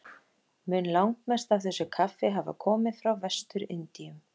Mun langmest af þessu kaffi hafa komið frá Vestur-Indíum.